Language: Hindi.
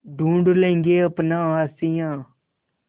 ढूँढ लेंगे अपना आशियाँ